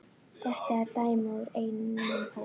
Þetta er dæmi úr einum hópnum